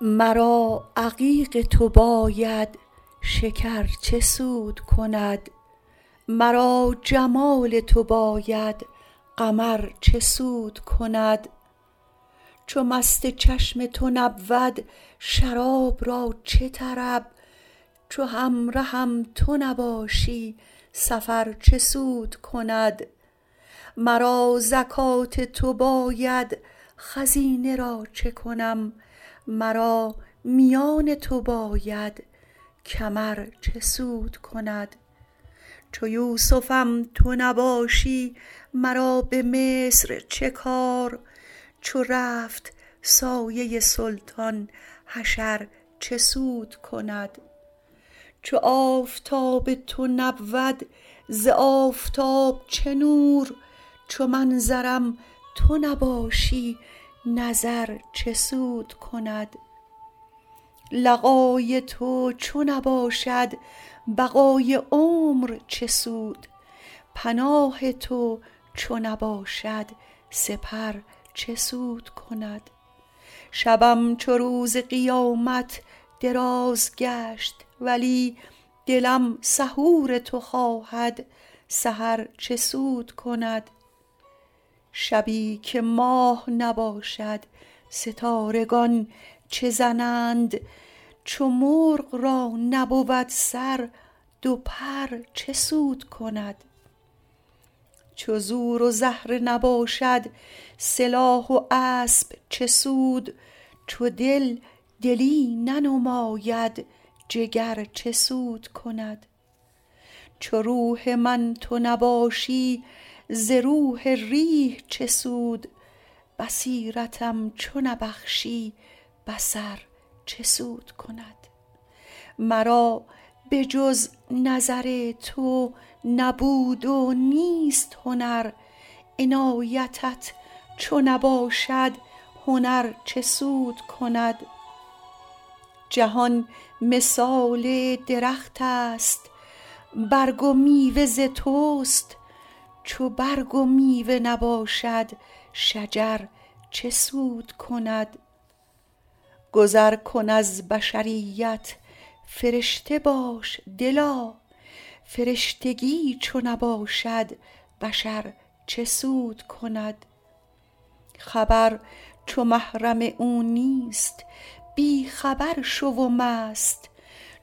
مرا عقیق تو باید شکر چه سود کند مرا جمال تو باید قمر چه سود کند چو مست چشم تو نبود شراب را چه طرب چو همرهم تو نباشی سفر چه سود کند مرا زکات تو باید خزینه را چه کنم مرا میان تو باید کمر چه سود کند چو یوسفم تو نباشی مرا به مصر چه کار چو رفت سایه سلطان حشر چه سود کند چو آفتاب تو نبود ز آفتاب چه نور چو منظرم تو نباشی نظر چه سود کند لقای تو چو نباشد بقای عمر چه سود پناه تو چو نباشد سپر چه سود کند شبم چو روز قیامت دراز گشت ولی دلم سحور تو خواهد سحر چه سود کند شبی که ماه نباشد ستارگان چه زنند چو مرغ را نبود سر دو پر چه سود کند چو زور و زهره نباشد سلاح و اسب چه سود چو دل دلی ننماید جگر چه سود کند چو روح من تو نباشی ز روح ریح چه سود بصیرتم چو نبخشی بصر چه سود کند مرا به جز نظر تو نبود و نیست هنر عنایتت چو نباشد هنر چه سود کند جهان مثال درختست برگ و میوه ز توست چو برگ و میوه نباشد شجر چه سود کند گذر کن از بشریت فرشته باش دلا فرشتگی چو نباشد بشر چه سود کند خبر چو محرم او نیست بی خبر شو و مست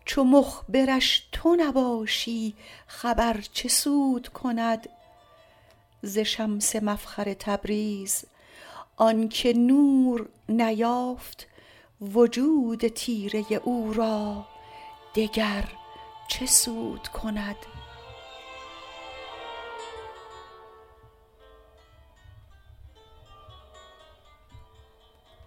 چو مخبرش تو نباشی خبر چه سود کند ز شمس مفخر تبریز آنک نور نیافت وجود تیره او را دگر چه سود کند